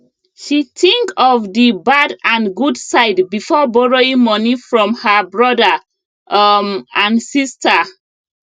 she think of d bad and good side before borrowing money from her brother um and sister